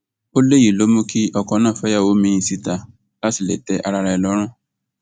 ó léyìí ló mú kí ọkọ náà fẹyàwó míín síta láti lè tẹ ara ẹ lọrùn